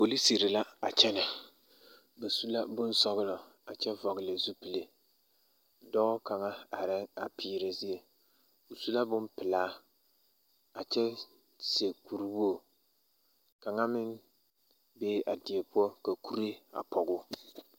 Polisiri la a kyԑnԑ, ba su la bonsͻgelͻ a kyԑ vͻgele zupili. Dͻͻ kaŋa arԑԑ a peerԑ zie, o su la bompelaa a kyԑ seԑ kuri wogiri. Kaŋa meŋ be la a die poͻ ka kuree a pͻge o.